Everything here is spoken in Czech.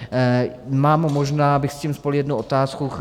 Mám - možná bych s tím spojil jednu otázku.